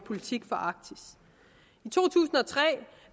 politik for arktis i to tusind og tre